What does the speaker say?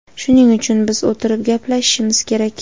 Shuning uchun biz o‘tirib gaplashishimiz kerak.